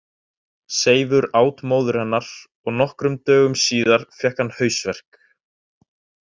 Seifur át móður hennar og nokkrum dögum síðar fékk hann hausverk.